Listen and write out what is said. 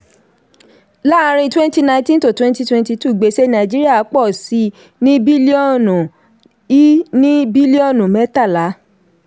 láàárin twenty nineteen – twenty twenty two gbèsè nàìjíríà pọ sí i ní bílíọ̀nù i ní bílíọ̀nù mẹ́tàlá.